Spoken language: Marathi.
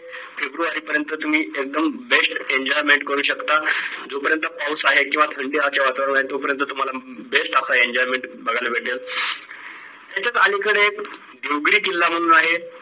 फेब्रुवारी पर्यंत तुम्ही एकदम best enjoyment करू शकता जोपर्यंत पाऊस आहे किंवा थंडीचे वातावरण आहे तोपर्यंत तुम्हाला best असा enjoyment बघायला भेटेल. तिथेच अलीकडे देवगडी किल्ला म्हणून आहे